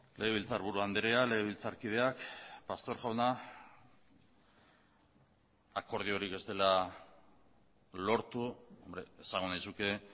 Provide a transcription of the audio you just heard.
legebiltzarburu andrea legebiltzarkideak pastor jauna akordiorik ez dela lortu esango nizuke